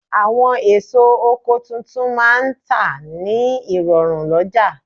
Àwọn èso oko tuntun máà ń tà ní rọ̀rùn lọ́jà